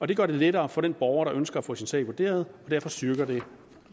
det gør det lettere for den borger der ønsker at få sin sag vurderet og derfor styrker det